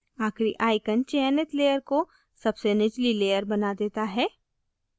आखिरी icon चयनित layer को सबसे निचली layer बना देता है